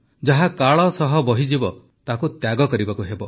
ଯାହା କାଳ ସହ ବହିଯିବ ତାହାକୁ ତ୍ୟାଗ କରିବାକୁ ହେବ